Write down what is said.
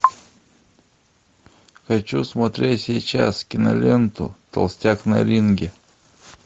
хочу смотреть сейчас киноленту толстяк на ринге